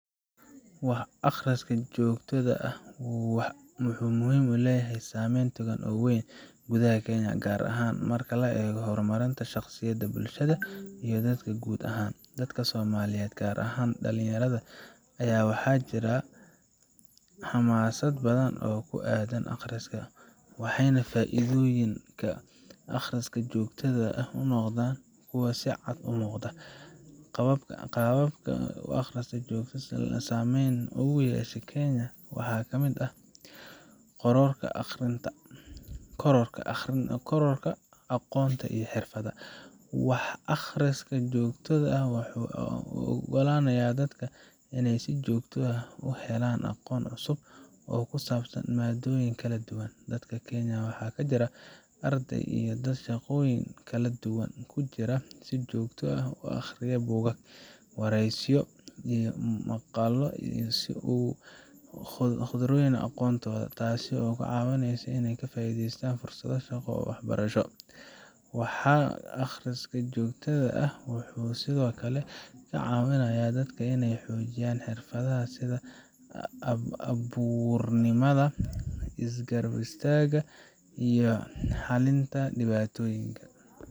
Wax aqriska joogtada ah wuxuu leeyahay saameyn togan oo weyn gudaha Kenya, gaar ahaan marka la eego horumarinta shaqsiga, bulshada, iyo dalka guud ahaan. Dadka Soomaaliyeed, gaar ahaan dhalinyarada, ayaa waxaa ka jira xamaasad badan oo ku aaddan aqriska, waxayna faa'iidooyinka aqriska joogtada ah noqdaan kuwo si cad u muuqda. Qaababka uu aqriska joogtada ah saameyn ugu yeeshay Kenya waxaa ka mid ah: Kororka aqoonta iyo xirfadaha: Wax aqriska joogtada ah wuxuu u oggolaanayaa dadka inay si joogto ah u helaan aqoon cusub oo ku saabsan maaddooyin kala duwan. Dadka Kenya waxaa ka jira arday iyo dad shaqooyin kala duwan ku jira oo si joogto ah u akhriya buugaag, wargeysyo, iyo maqaallo si ay ugu sii kordhiyaan aqoontooda, taasoo ka caawinaysa in ay ka faa'iideystaan fursado shaqo iyo waxbarasho. Wax aqriska joogtada ah wuxuu sidoo kale ka caawinayaa dadka inay xoojiyaan xirfadaha sida hal abuurnimada, isgaarsiinta, iyo xallinta dhibaatooyinka.